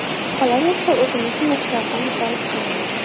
Qolaversa, o‘zimizni yoshlardan jalb qilamiz.